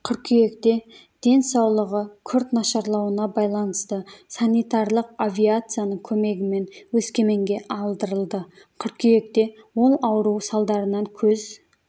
қыркүйекте денсаулығы күрт нашарлауына байланысты санитарлық авиацияның көмегімен өскеменге алдырылды қыркүйекте ол ауру салдарынан көз